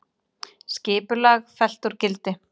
Skipulag fellt úr gildi